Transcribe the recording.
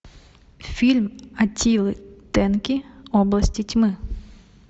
фильм аттилы тенки области тьмы